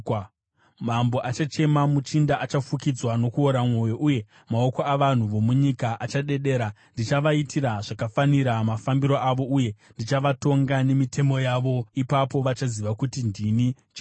Mambo achachema, muchinda achafukidzwa nokuora mwoyo, uye maoko avanhu vomunyika achadedera. Ndichavaitira zvakafanira mafambiro avo, uye ndichavatonga nemitemo yavo. Ipapo vachaziva kuti ndini Jehovha.”